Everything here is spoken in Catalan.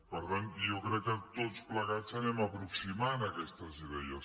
per tant jo crec que tots plegats anem aproximant aquestes idees